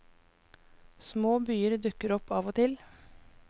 Små byer dukker opp av og til.